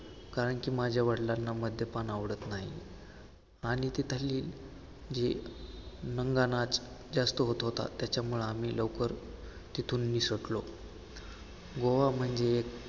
कारण की माझ्या वडिलांना मद्यपान आवडत नाही. आणि तिथले जे नंगानाच जास्त होतं होता, त्याच्यामुळे आम्ही लवकर तिथून निसटलो गोवा म्हणजे एक